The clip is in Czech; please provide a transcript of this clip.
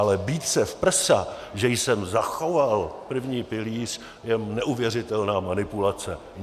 Ale bít se v prsa, že jsem zachoval první pilíř, je neuvěřitelná manipulace.